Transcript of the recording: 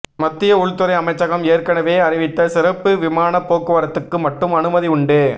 மத்திய உள்துறை அமைச்சகம் ஏற்கனவே அறிவித்த சிறப்பு விமான போக்குவரத்துக்கு மட்டும் அனுமதி உண்டு